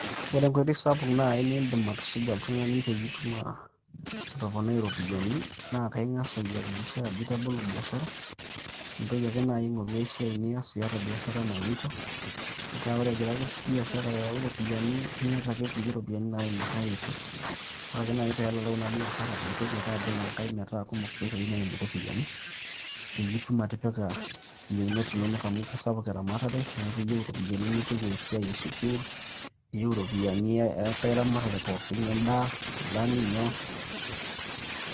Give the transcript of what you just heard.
Ore enkoitoi sapuk naai niindim atusuja oltung'ani peyie itum atoponai ropiyiani, naa kaing'as ayakikisha ajo itabolo biashara, nintoki ake naaji aing'oru esiai nias iata biashara naloito metaa ore egira ake biashara ayau ropiyiani niyata ake kulie ropiyiani naimu ai oitoi. Ore ake naaji peelalau ina biashara, nintoki ake abol enkae metaa kumok inkoitoi naimu ropiyiani, peyie itum atipika yieunot inonok amu kisapuk eramatare neeku iyieu ropiyiani nipik esiai esukuul, iyieu ropiyiani enkae ramatare pooki endaa, nkilani nyoo.